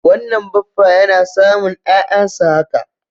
Wannan baffa yana samun 'ya'yansa haka.